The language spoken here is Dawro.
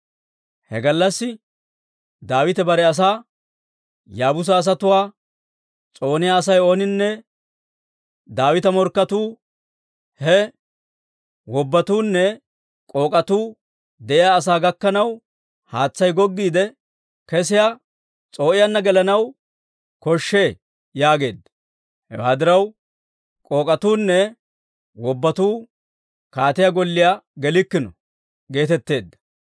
He gallassi Daawite bare asaa, «Yaabuusa asatuwaa s'ooniyaa Asay ooninne Daawita morkketuu, he ‹wobbatuunne k'ook'atuu› de'iyaa sa'aa gakkanaw, haatsay goggiide kesiyaa s'oo'iyaanna gelanaw koshshee» yaageedda. Hewaa diraw, «K'ook'etunne wobbatuu kaatiyaa golliyaa gelikkino» geetetteedda.